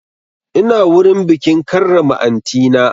Ina wurin bikin karrama aunty na